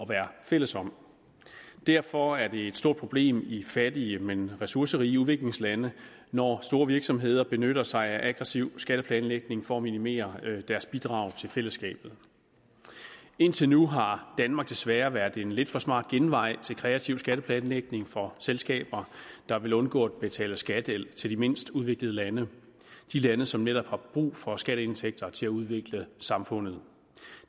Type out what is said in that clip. være fælles om derfor er det et stort problem i fattige men ressourcerige udviklingslande når store virksomheder benytter sig af aggressiv skatteplanlægning for at minimere deres bidrag til fællesskabet indtil nu har danmark desværre været en lidt for smart genvej til kreativ skatteplanlægning for selskaber der vil undgå at betale skat til til de mindst udviklede lande de lande som netop har brug for skatteindtægter til at udvikle samfundet